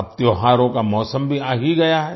अब त्योहारों का मौसम भी आ ही गया है